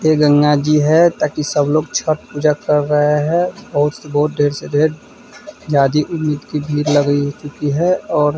ये गंगा जी है ताकि सब लोग छठ पूजा कर रहे हैं बहुत से बहुत ढेर से ढेर ज्यादा उम्मीद की भीड़ लग चुकी हैं और --